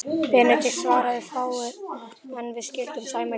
Benedikt svaraði fáu, en við skildum sæmilega.